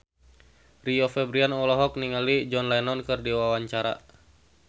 Rio Febrian olohok ningali John Lennon keur diwawancara